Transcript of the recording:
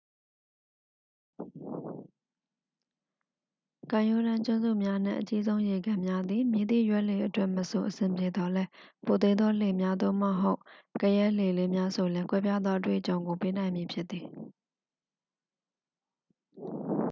ကမ်းရိုးတမ်းကျွန်းစုများနှင့် အကြီးဆုံးရေကန်များသည် မည်သည့်ရွက်လှေအတွက်မဆို အဆင်ပြေသော်လည်း ပိုသေးသောလှေများ သို့မဟုတ် ကယက်လှေလေးများ ဆိုလျှင် ကွဲပြားသော အတွေ့အကြုံကိုပေးနိုင်မည် ဖြစ်သည်